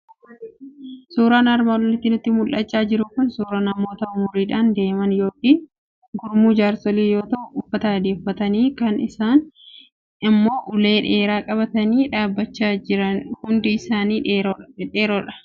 Suuraan armaan olitti nutti mul'achaa jiru kun suuraa namoota umuriidhaan deeman yookiin gurmuu jaarsolii yoo ta'u, uffata adii uffatabii, kaan isaanii immoo ulee dheeraa qabatanii dhaabbachaa jiru. Hundi isaanii dhiirotadha.